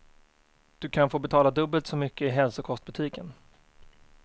Du kan få betala dubbelt så mycket i hälsokostbutiken.